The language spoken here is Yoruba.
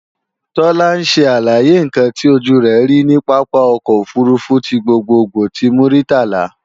Tọ́lá ń ṣe àlàyé ǹkan tí ojú rẹ̀ rí ní pápá ọkọ̀ òfurufú ti gbogbogbò ti Muritala